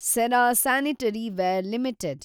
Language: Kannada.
Cera sanitaryware limited